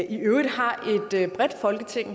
i øvrigt har et bredt folketing